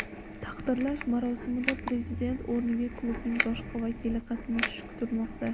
Taqdirlash marosimida prezident o‘rniga klubning boshqa vakili qatnashishi kutilmoqda.